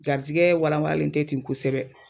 Garizigɛ wala walalen tɛ ten kosɛbɛ